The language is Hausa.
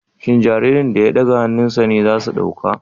Shin jaririn da ya ɗaga hannunsa ne za su ɗauka